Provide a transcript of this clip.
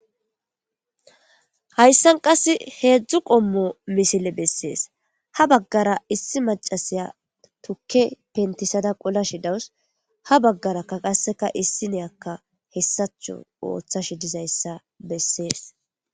Hayssan qass heedzdzu qommo misile bessees ha baggara issi macasiya tukke pentisada qola shidawus ha baggarakka qasseka issi neyakka hessacho ooththash dizayssa bessees.